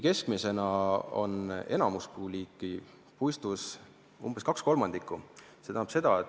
Keskmiselt on enamuspuuliiki puistus umbes 2/3.